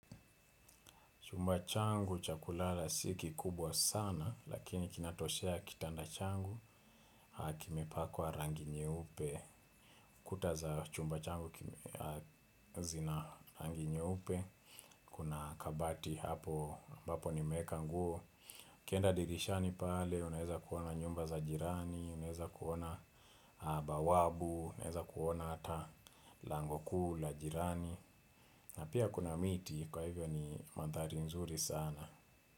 Chumba changu cha kulala si kikubwa sana, lakini kinatoshea kitanda changu, akimepakwa rangi nyeupe. Kuta za chumba changu zina rangi nyeupe, kuna kabati hapo, ambapo nimeeka nguo. Kenda dirishani pale, unaeza kuona nyumba za jirani, unaeza kuona bawabu, unaeza kuona hata lango kuu la jirani. Na pia, kuna miti, kwa hivyo ni manthari nzuri sana.